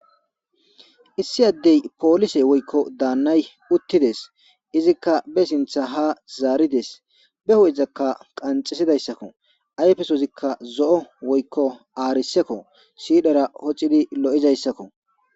Issi addey polise woykko daannay uttides izikka be sintha ha zaarides be ho7izakka qanxesidayssakko ayfesozikka zo7o woykko aarisekko siidara hocidi lo7izayssakko